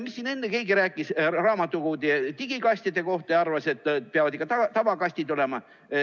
Siin enne keegi rääkis raamatukogude digikastide kohta ja arvas, et peavad ikka tavakastid olema.